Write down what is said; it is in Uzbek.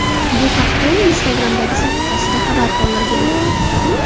Bu haqda u Instagram’dagi sahifasida xabar qoldirgan .